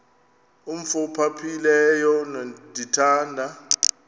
umf ophaphileyo ndithanda